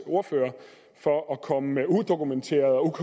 ordfører for at komme med udokumenterede og